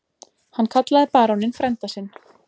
Hann kallaði baróninn frænda sinn.